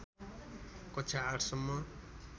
कक्षा ८ सम्म